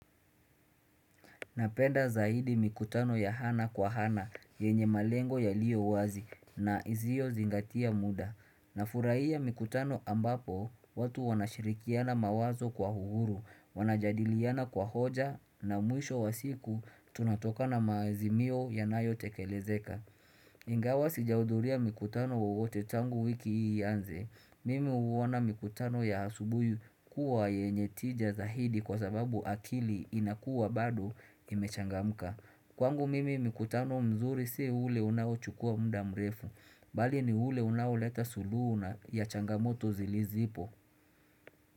Napenda zaidi mikutano ya hana kwa hana, yenye malengo yaliyo wazi, na izio zingatia muda. Nafuraia mikutano ambapo, watu wanashirikiana mawazo kwa huhuru, wanajadiliana kwa hoja, na mwisho wa siku, tunatoka na maazimio yanayotekelezeka. Ingawa sijauduria mukutano wowote tangu wiki iaanze. Mimi uwona mikutano ya asubui kuwa yenye tija zahidi kwa sababu akili inakua bado imechangamka. Kwangu mimi mikutano mzuri si ule unaochukua mda mrefu. Bali ni ule unaoleta suluhu na ya changamoto zilizipo.